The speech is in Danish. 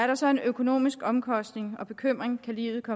der så er en økonomisk omkostning og bekymring kan livet